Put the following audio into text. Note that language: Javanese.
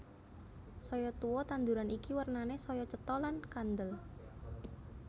Saya tuwa tanduran iki wernané saya cetha lan kandel